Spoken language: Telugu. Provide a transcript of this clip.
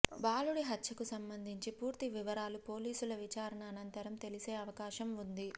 బాలుడి హత్యకు సంబంధించి పూర్తి వివరాలు పోలీసుల విచారణ అనంతరం తెలిసే అవకాశం ఉంది